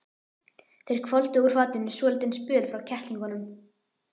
Þeir hvolfdu úr fatinu svolítinn spöl frá kettlingunum.